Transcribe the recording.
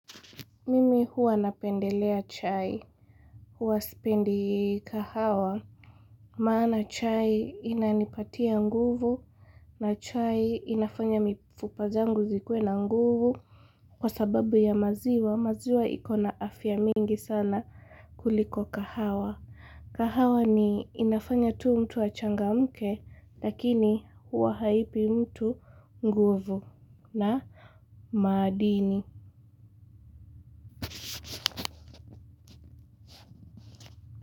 Mimi huwa napendelea chai. Huwa sipendi kahawa. Maana chai inanipatia nguvu. Na chai inafanya mifupa zangu zikue na nguvu. Kwa sababu ya maziwa, maziwa iko na afya mingi sana kuliko kahawa. Kahawa ni inafanya tu mtu achangamke, lakini huwa haipi mtu nguvu na maadini.